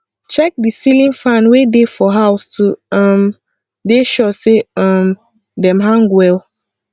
check di ceiling fan wey dey for house to um dey sure sey um dem hang well